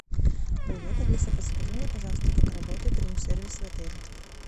привет алиса подскажи мне пожалуйста как работает рум сервис в отеле